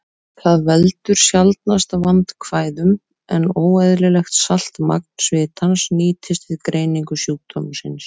Það veldur sjaldnast vandkvæðum, en óeðlilegt saltmagn svitans nýtist við greiningu sjúkdómsins.